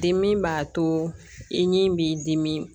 Dimi b'a to i ni b'i dimi